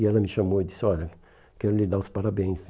E ela me chamou e disse, olha, quero lhe dar os parabéns.